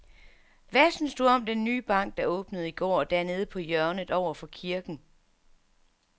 Hvad synes du om den nye bank, der åbnede i går dernede på hjørnet over for kirken?